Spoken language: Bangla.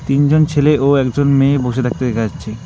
তিনজন ছেলে ও একজন মেয়ে বসে থাকতে দেখা যাচ্ছে।